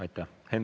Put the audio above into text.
Aitäh!